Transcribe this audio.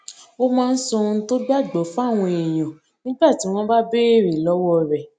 ó máa ń sọ ohun tó gbà gbó fáwọn èèyàn nígbà tí wón bá béèrè lówó rè